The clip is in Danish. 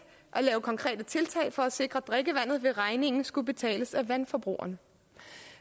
at lave konkrete tiltag for at sikre drikkevandet vil regningen skulle betales af vandforbrugerne